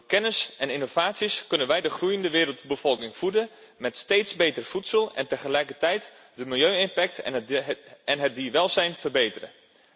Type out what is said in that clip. Door kennis en innovaties kunnen wij de groeiende wereldbevolking voeden met steeds beter voedsel en tegelijkertijd de milieueffecten en het dierenwelzijn verbeteren.